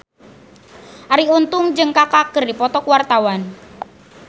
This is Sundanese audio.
Arie Untung jeung Kaka keur dipoto ku wartawan